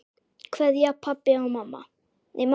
Kveðja mamma og pabbi.